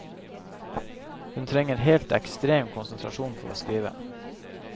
Hun trenger helt ekstrem konsentrasjon for å skrive.